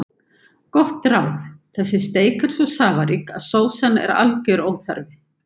Gott ráð: Þessi steik er svo safarík að sósa er algjör óþarfi.